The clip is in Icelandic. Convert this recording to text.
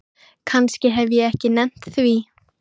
Kannski hef ég ekki nennt því.